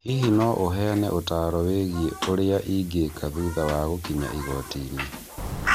Hihi no ũheane ũtaaro wĩgiĩ ũrĩa ingĩka thutha wa gũkinya igoti-inĩ?